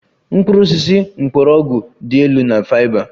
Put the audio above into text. Mkpụrụ osisi mgbọrọgwụ dị elu na fiber